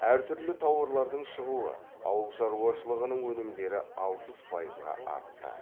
әр түрлі тауарлардың шығуы ауылшаруашылығының өнімдері алпыс пайызға артты